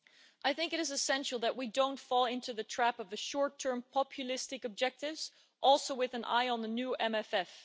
I think it is essential that we don't fall into the trap of the short term populistic objectives, also with an eye on the new MFF.